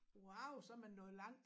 Wauw så man nået langt